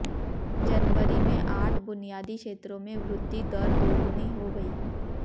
जनवरी में आठ बुनियादी क्षेत्रों में वृद्धि दर दोगुनी हो गई